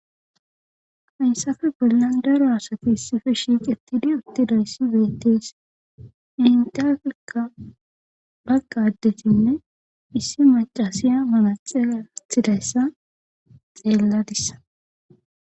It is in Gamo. Hayssafe bollan daro asati issife shiq etidi uttidayssi bettees intaflika baggadetinne issi macasiya manaxea athidayssa xeelladissa